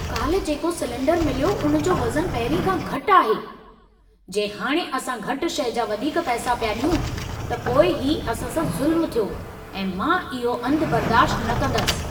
काल्हि जेको सिलेंडरु मिलियो उन जो वज़नु पहिरीं खां घटि आहे। जे हाणे असां घटि शइ जा वधीक पैसा पिया ॾियूं त पोइ ही असां सां ज़ुल्मु थियो ऐं मां इहा अंधु बर्दाश्त न कंदसि।